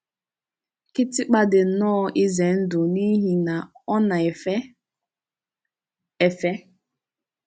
Kịtịkpa dị nnọọ ize ndụ n’ihi na ọ na-èfè éfè.